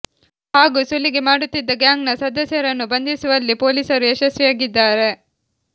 ಹಾಗೂ ಸುಲಿಗೆ ಮಾಡುತ್ತಿದ್ದ ಗ್ಯಾಂಗ್ ನ ಸದಸ್ಯರನ್ನು ಬಂಧಿಸುವಲ್ಲಿ ಪೊಲೀಸರು ಯಶಸ್ವಿಯಾಗಿದ್ದಾರೆ